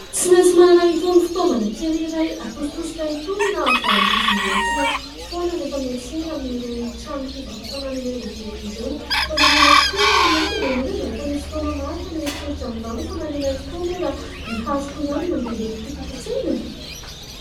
Tsy maintsy manana itony fitaovana kely iray atositosika itony na valizy hoentina foana rehefa miantsena amin'ireny tranom-pivarotana lehibe ireny. Fa maninona tokoa ary ny antony ? Ianao ve mba efa nisy fotoana marina nieritreritra an'izany hoe : fa maninona tokoa moa raha ny haroko ihany no andeha hoentiko eto an-tsena e ?